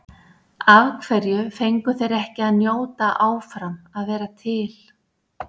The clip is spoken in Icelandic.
Af hverju fengu þeir ekki að njóta áfram að vera til?